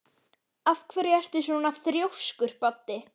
Af hverju ertu svona þrjóskur, Baddi?